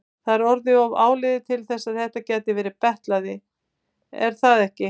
Það er orðið of áliðið til þess að þetta gæti verið betlari, er það ekki?